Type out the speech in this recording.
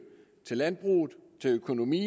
til landbrug til økonomi